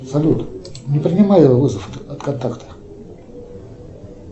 салют не принимай вызов от контакта